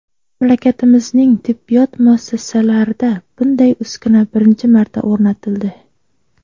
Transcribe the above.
Mamlakatimizning tibbiyot muassasalarida bunday uskuna birinchi marta o‘rnatildi.